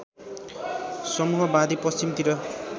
समूह बाँधी पश्चिमतिर